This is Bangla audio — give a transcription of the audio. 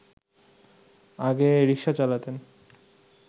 আগে রিকশা চালাতেন